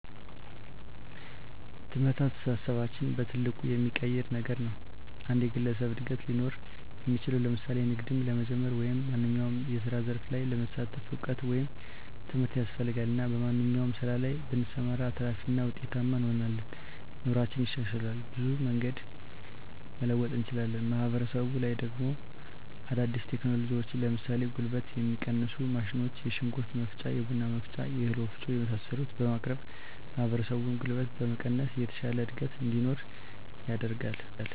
ትምህርት አስተሳሰባችንን በትልቁ የሚቀይር ነገር ነዉ። የአንድ ግለሰብ እድገት ሊኖር እሚችለዉ ለምሳሌ ንግድም ለመጀመር ወይም ማንኛዉም የስራ ዘርፍ ላይ ለመሳተፍ እዉቀት ወይም ትምህርት ያስፈልጋል እና በማንኛዉም ስራ ላይ ብንሰማራ አትራፊ እና ዉጤታማ እንሆናለን። ኑሮአችን ይሻሻላል፣ በብዙ መንገድ መለወጥ እንችላለን። ማህበረሰቡ ላይ ደሞ አዳዲስ ቴክኖሎጂዎችን ለምሳሌ ጉልበትን የሚቀንሱ ማሽኖች የሽንኩርት መፍጫ፣ የቡና መፍጫ፣ የእህል ወፍጮ የመሳሰሉትን በማቅረብ ማህበረሰቡን ጉልበት በመቀነስ የተሻለ እድገት እንዲኖር ያደርጋል።